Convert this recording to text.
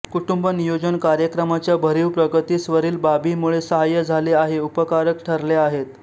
कुटुंब नियोजन कार्यक्रमाच्या भरीव प्रगतीस वरील बाबीमुळे साहाय्य झाले आहे उपकारक ठरल्या आहेत